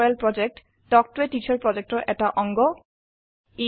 spoken tutorial প্ৰকল্প talk to a teacher প্ৰকল্পৰ এটা অংগ